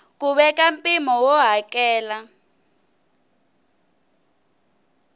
ku veka mpimo wo hakela